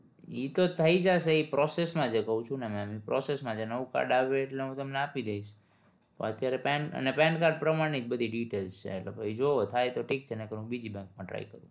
ઈ તો થઇ જાશે. ઈ process માં છે કહું છું ને ma'am process માં છે નવું card આવે એટલે હું તમને આપી દઈશ અત્યારે pan pan card પ્રમાણ ની જ બધી details છે તો પછી જોવો થાય તો ઠીક છે નકર હું બીજી branch માં try કરું